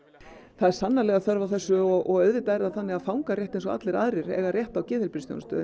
það er sannarlega þörf á þessu og auðvitað er það þannig að fangar rétt eins og allir aðrir eiga rétt á geðheilbrigðisþjónustu